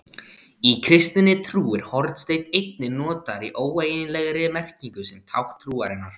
Í kristinni trú er hornsteinn einnig notaður í óeiginlegri merkingu sem tákn trúarinnar.